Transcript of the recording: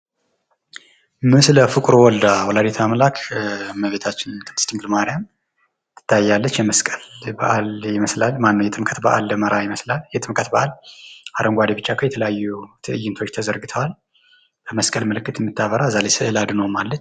ምስለ-ፍቁር ወልዳ ወላዲተ-አምላክ እመቤታችን ቅድስት ድንግል ማርያም ትታያለች የመስቀል በአል ይመስላል። ማነው የጥምቀት በአል ይመስላል። የጥምቀት በዓል አረንጓዴ ቢጫ ቀይ እና የተለያዩ ተይንቶች ተዘርግተዋል። እንደመስቀል ምልክት የምታበራ ከዚያ ላይም ስዕለ-አድኅኖ አለች።